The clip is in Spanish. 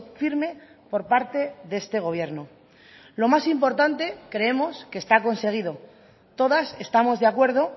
firme por parte de este gobierno lo más importante creemos que está conseguido todas estamos de acuerdo